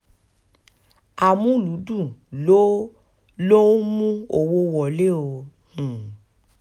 amúlùúdùn ló ló ń mú owó wọlé o um